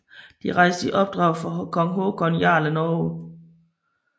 De rejste i opdrag fra kong Håkon Jarl af Norge